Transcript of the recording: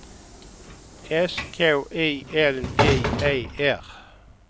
S K I L J E R